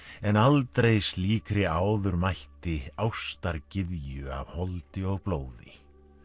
en aldrei slíkri áður mætti af holdi og blóði